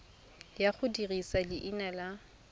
ya go dirisa leina la